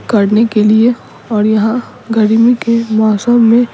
करने के लिए और यहाँ गर्मी के मौसम में --